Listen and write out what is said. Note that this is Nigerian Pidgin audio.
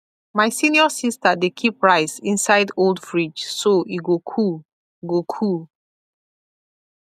my senior sister dey keep rice inside old fridge so e go cool go cool